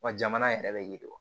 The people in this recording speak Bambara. Wa jamana yɛrɛ bɛ yiriwa